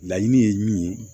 Laɲini ye min ye